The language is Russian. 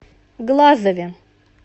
глазове